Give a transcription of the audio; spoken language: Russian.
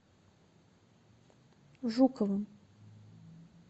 жуковым